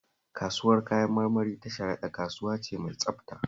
Kasuwar Kayan marmari ta Sharaɗa kasuwa ce mai tsabta